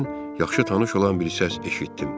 Birdən yaxşı tanış olan bir səs eşitdim.